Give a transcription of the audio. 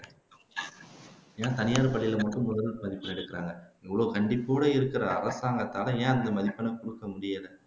ஏன் தனியார் பள்ளியில மட்டும் முதல் மதிப்பெண் எடுக்கிறாங்க இவ்வளவு கண்டிப்போடு இருக்கிற அரசாங்கத்தால ஏன் அந்த மதிப்பெண்ணை குடுக்க முடியலை